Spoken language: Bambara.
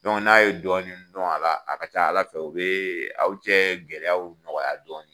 n'a ye dɔɔni dun a la, ka ca ala fɛ o be aw cɛ gɛlɛyaw nɔgɔya dɔɔni .